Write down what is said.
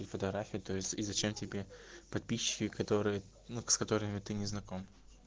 и фотография то есть и зачем тебе подписчики которые ну с которыми ты не знаком